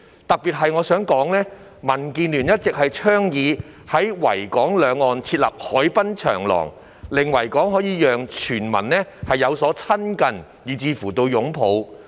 特別是，民主建港協進聯盟一直倡議在維港兩岸設立海濱長廊，讓全民可以"親近"以至"擁抱"維港。